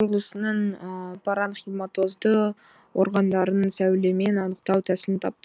құрылысының паранхиматозды органдарын сәулемен анықтау тәсілін тапты